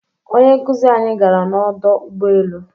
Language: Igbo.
Onye nkuzi anyi gara n'ọdọ ụgbọelu